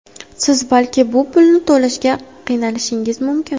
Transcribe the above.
Siz balki bu pulni to‘lashga qiynalishingiz mumkin.